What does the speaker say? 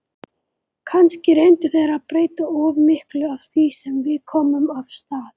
Kannski reyndu þeir að breyta of miklu af því sem við komum af stað.